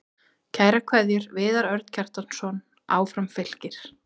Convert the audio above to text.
Kærar kveðjur, Viðar Örn Kjartansson Áfram Fylkir